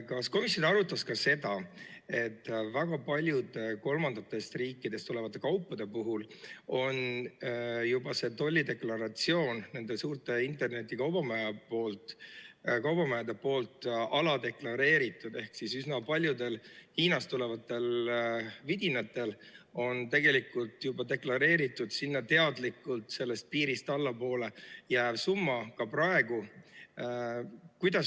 Kas komisjon arutas ka seda, et väga paljude kolmandatest riikidest tulevate kaupade puhul on juba tollideklaratsioon nende suurte internetikaubamajade poolt aladeklareeritud ehk üsna paljudel Hiinast tulevatel vidinatel on tegelikult juba deklareeritud sinna teadlikult sellest piirist allapoole jääv summa ka praegu?